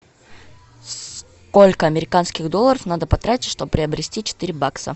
сколько американских долларов надо потратить чтобы приобрести четыре бакса